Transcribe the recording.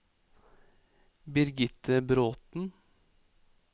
Birgitte Bråthen